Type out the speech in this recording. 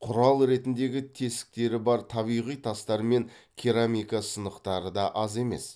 құрал ретіндегі тесіктері бар табиғи тастар мен керамика сынықтары да аз емес